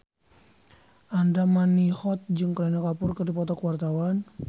Andra Manihot jeung Kareena Kapoor keur dipoto ku wartawan